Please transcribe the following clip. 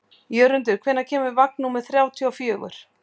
Jörundur, hvenær kemur vagn númer þrjátíu og fjögur?